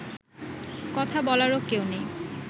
কথা বলারও কেউ নেই